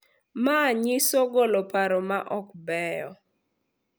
Manyiso golo paro ma ok beyo